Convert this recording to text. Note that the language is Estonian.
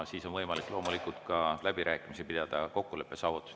Siis on võimalik loomulikult ka pidada läbirääkimisi kokkuleppe saavutamise üle.